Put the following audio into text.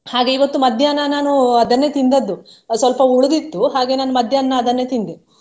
ಹಾಗೆ ಇವತ್ತು ಮಧ್ಯಾಹ್ನ ನಾನು ಅದನ್ನೇ ತಿಂದದ್ದು ಅಹ್ ಸ್ವಲ್ಪ ಉಳಿದಿತ್ತು ಹಾಗೆಯೇ ನಾನು ಮಧ್ಯಾಹ್ನ ಅದನ್ನೇ ತಿಂದೆ.